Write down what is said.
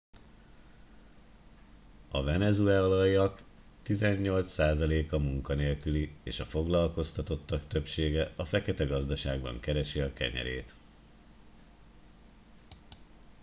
a venezuelaiak tizennyolc százaléka munkanélküli és a foglalkoztatottak többsége a feketegazdaságban keresi a kenyerét